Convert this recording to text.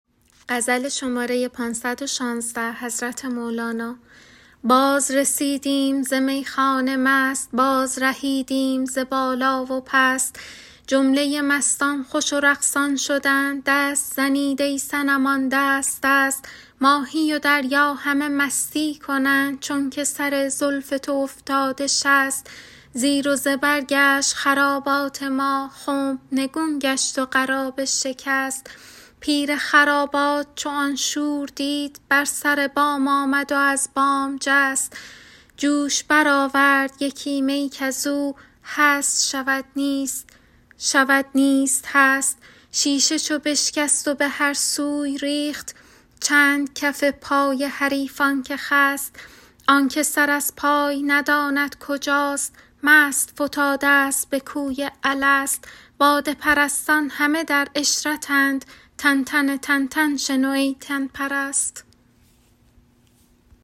بازرسیدیم ز میخانه مست بازرهیدیم ز بالا و پست جمله مستان خوش و رقصان شدند دست زنید ای صنمان دست دست ماهی و دریا همه مستی کنند چونک سر زلف تو افتاده شست زیر و زبر گشت خرابات ما خنب نگون گشت و قرابه شکست پیر خرابات چو آن شور دید بر سر بام آمد و از بام جست جوش برآورد یکی می کز او هست شود نیست شود نیست هست شیشه چو بشکست و به هر سوی ریخت چند کف پای حریفان که خست آن که سر از پای نداند کجاست مست فتادست به کوی الست باده پرستان همه در عشرتند تنتن تنتن شنو ای تن پرست